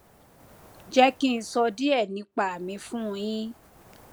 jé kí n sọ díè nípa mi fún un yín